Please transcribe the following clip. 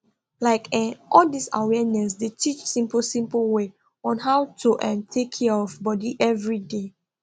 like eh all dis awareness dey teach simple simple way on how to um take care of body everyday